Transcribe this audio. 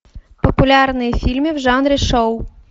популярные фильмы в жанре шоу